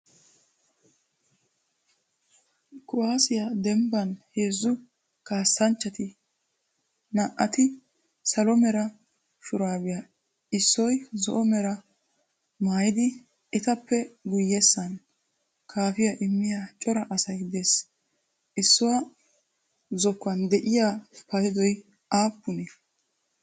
Kuwaassiyaa dembban heezzu kassanchati naa"ati salo mera shuurabiya, issoy zo"o mera mayiddi, etttappe guyyessan kaaffiyaa immiya cora assay dees. issuwaa zokkuwan de"iyaa paydoy aapunee?